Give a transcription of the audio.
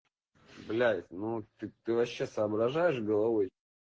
блядь ну ты ты вообще соображаешь головой